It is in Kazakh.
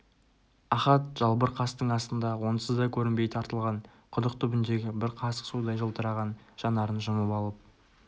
ахат жалбыр қастың астында онсыз да көрінбей тартылған құдық түбіндегі бір қасық судай жылтыраған жанарын жұмып алып